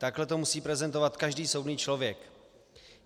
Tak to musí prezentovat každý soudný člověk.